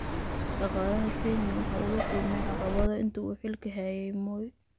Dhaqaalaha Kenya waxa uu la kulmay caqabado intii uu xilka hayay Moi.